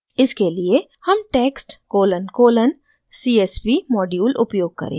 इसके लिए हम text colon colon csv module उपयोग करेंगे